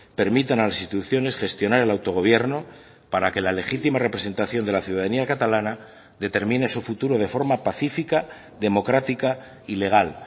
permitan a las instituciones gestionar el autogobierno para que la legítima representación de la ciudadanía catalana determine su futuro de forma pacífica democrática y legal